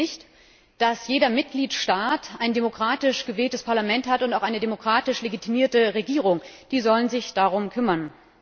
Vergessen wir nicht, dass jeder Mitgliedstaat ein demokratisch gewähltes Parlament hat und auch eine demokratisch legitimierte Regierung. Die sollen sich darum kümmern.